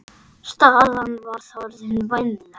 Staðan var þá orðin vænleg.